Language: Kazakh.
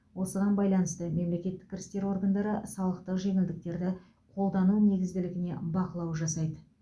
осыған байланысты мемлекеттік кірістер органдары салықтық жеңілдіктерді қолдану негізділігіне бақылау жасайды